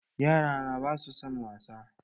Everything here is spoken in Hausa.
Yarana ba su son wasa